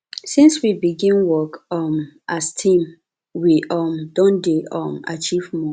since we begin work um as team we um don dey um achieve more